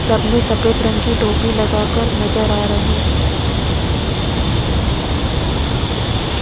सब ने सफेद रंग की टोपी लगा कर नजर आ रही है।